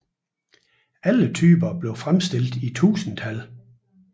Alle typerne blev fremstillet i tusindtal